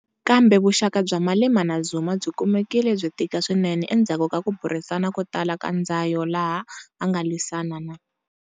Kambe vuxaka bya Malema na Zuma byi kumekile byi tika swinene endzhaku ka ku burisana ko tala ka ndzayo laha a nga lwisana na.